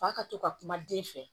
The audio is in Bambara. Fa ka to ka kuma den fɛ